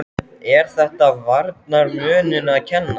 Er þetta varnarmönnunum að kenna?